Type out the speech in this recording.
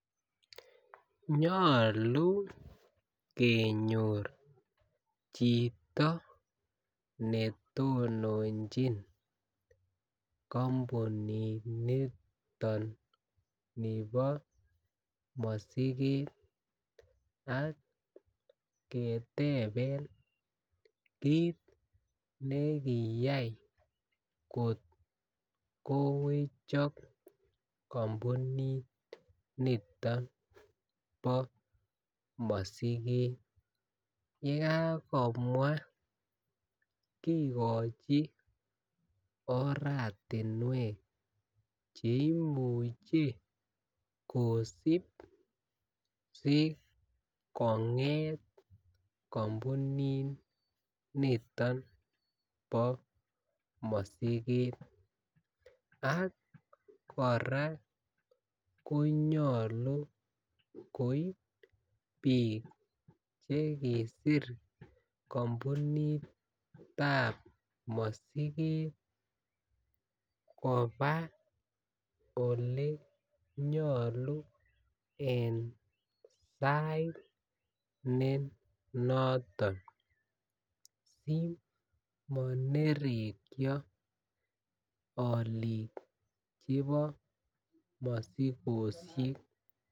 Nyoluu kenyor chito ne tononjin kompunit niton nebo mosiket ak keteben kiit ne kiyay kot ko wechok kompunit niton nebo mosiket yee Kakomwa kigochi oratinwek che imuche kosib si konget kompunit niton bo mosiket ak koraa konyoluu koib biik che kisir kompunitab mosiket kobaa ole nyoluu en sait ne noton si morekyo oliik chebo mosikoshek